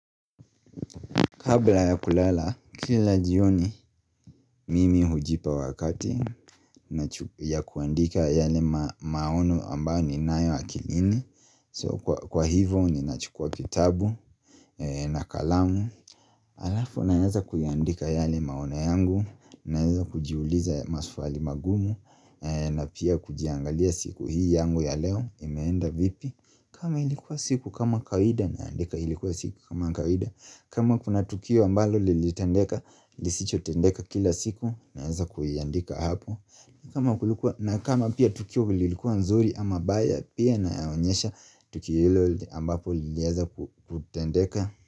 Kabla ya kulala, kila jioni mimi hujipa wakati ya kuandika yale maono ambayo ninayo akilini So kwa hivo ninachukua kitabu na kalamu Alafu naeza kuyaandika yale maono yangu, naeza kujiuliza maswali mangumu na pia kujiangalia siku hii yangu ya leo imeenda vipi kama ilikuwa siku kama kawaida naandika ilikuwa siku kama kawaida kama kuna tukio ambalo lilitendeka, lisicho tendeka kila siku naeza kuiandika hapo, kama kulikuwa. Na kama pia tukio lilikuwa nzuri ama mbaya pia naonyesha tukio hilo ambapo lilieza kutendeka.